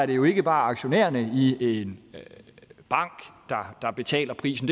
det jo ikke bare aktionærerne i en bank der betaler prisen